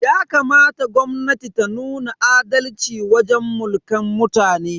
Yakamata gwamnatin ta nuna adalci wajen Mulkan mutane.